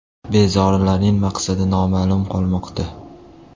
Bezorilarning maqsadi noma’lum qolmoqda.